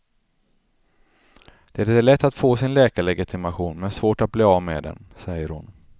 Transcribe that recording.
Det är lätt att få sin läkarlegitimation men svårt att bli av med den, säger hon.